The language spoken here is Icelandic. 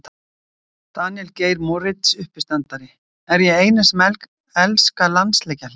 Daníel Geir Moritz uppistandari: Er ég eini sem elska landsleikjahlé?